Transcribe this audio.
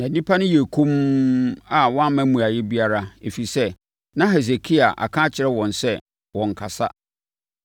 Na nnipa no yɛɛ komm a wɔamma mmuaeɛ biara, ɛfiri sɛ, na Hesekia aka akyerɛ wɔn sɛ wɔnnkasa.